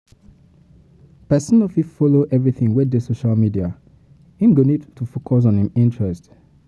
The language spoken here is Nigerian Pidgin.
Person no fit follow everything wey dey for social media, im go need to focus on im interest